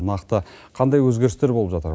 нақты қандай өзгерістер болып жатыр